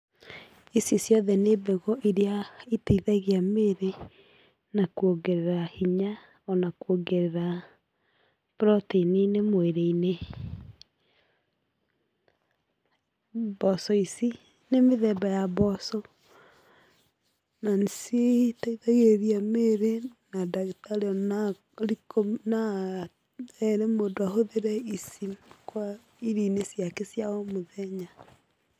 Ici ciothe nĩ mbegũ iria iteithagia mĩĩrĩ na kwongerera hinya o na kũongerera protein -inĩ mwĩrĩ-inĩ. Mboco ici nĩ mĩthemba ya mboco na nĩciteithagĩrĩria mĩĩrĩ na dagĩtarĩ noere mũndũ ahũthĩre ici, irio-inĩ ciake cia o mũthenya.